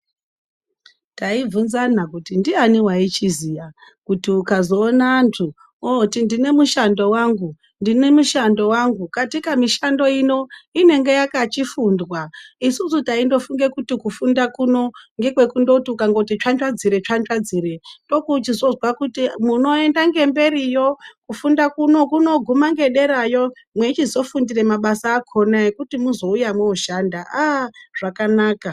Taibvunzana kuti ndiyani waichiziya kuti ukazoona antu ooti ndine mushando wangu ,ndine mushando wangu katika mishando ino inenge yakachifundwa isusu taindofunge kuti kufunda kuno ngekwekundoti ukangoti tsvatsvadzire -tsvatsvadzire ndopounochizozwa kuti munoenda ngemberiyo kufunda kuno kunoguma ngederayo mweichizofundire mabasa akona ekuti mwochizouya mwooshanda aah zvakanaka.